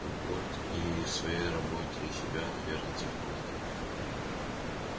вот и своей работе себя наверное целиком отдавал